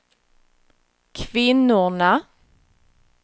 kvinnorna